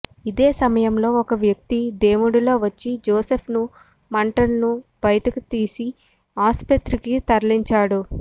ఇదే సమయంలో ఓ వ్యక్తి దేవుడిలా వచ్చి జోసెఫ్ను మంటలను బయటకు తీసి ఆస్పత్రికి తరలించాడు